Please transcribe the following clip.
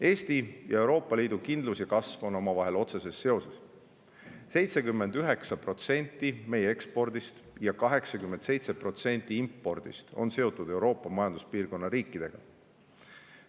Eesti ja Euroopa Liidu kindlus ja kasv on omavahel otseses seoses: 79% meie ekspordist ja 87% impordist on seotud Euroopa majanduspiirkonna riikidega.